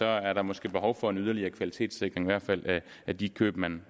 er der måske behov for en yderligere kvalitetssikring i hvert fald af de køb man